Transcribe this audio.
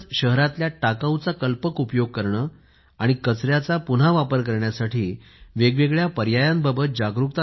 शहरातल्या टाकाऊचा कल्पक उपयोग करणे आणि कचऱ्याचा पुन्हा वापर करण्यासाठी वेग वेगळ्या पर्याया बाबत जागरूकता निर्माण करणे